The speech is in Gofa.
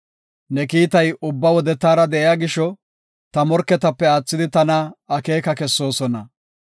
Ne kiitay ubba wode taara de7iya gisho, ta morketape aathidi tana akeeka kessoosona.